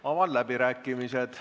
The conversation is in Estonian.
Avan läbirääkimised.